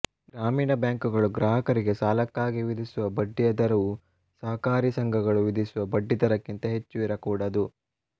ಗ್ರಾಮೀಣ ಬ್ಯಾಂಕುಗಳು ಗ್ರಾಹಕರಿಗೆ ಸಾಲಕ್ಕಾಗಿ ವಿಧಿಸುವ ಬಡ್ಡಿಯ ದರವು ಸಹಕಾರಿ ಸಂಘಗಳು ವಿಧಿಸುವ ಬಡ್ಡಿ ದರಕ್ಕಿಂತ ಹೆಚ್ಚು ಇರಕೂಡದು